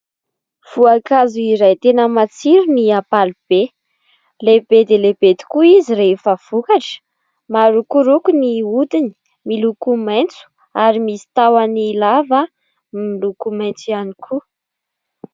Voankazo iray tena matsiro ny ampalibe, lehibe dia lehibe tokoa izy rehefa vokatra, marokoroko ny odiny, miloko maitso ary misy tahony lava miloko maitso ihany koa.